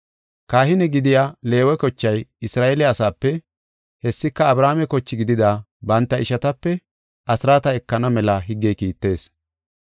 Kahine gidiya Leewe kochay Isra7eele asape, hessika Abrahaame koche gidida banta ishatape asraata ekana mela higgey kiittees.